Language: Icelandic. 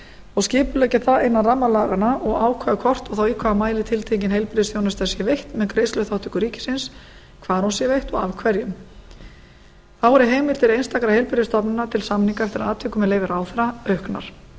og skipuleggja það innan ramma laganna og ákveða hvort og þá í hvaða mæli tiltekin heilbrigðisþjónusta sé veitt með greiðsluþátttöku ríkisins hvar hún sé veitt og af hverjum þá eru heimildir einstakra heilbrigðisstofnana til samninga eftir atvikum með leyfi ráðherra auknar